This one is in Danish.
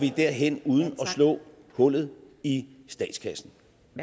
derhen uden at slå hullet i statskassen